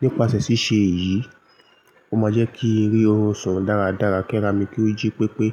Nípasẹ̀ ṣíṣe èyí, ó máa jẹ́ kí n ri orun sùn dáradára ki ara mi kí ó jí pépé.